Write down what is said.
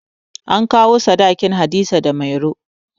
An kawo sadakin Hadiza da Mairo